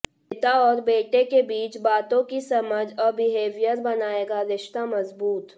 पिता और बेटे के बीच बातों की समझ और बिहेवियर बनाएगा रिश्ता मजबूत